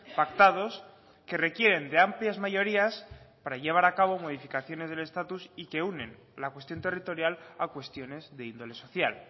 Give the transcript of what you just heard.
pactados que requieren de amplias mayorías para llevar a cabo modificaciones del estatus y que unen la cuestión territorial a cuestiones de índole social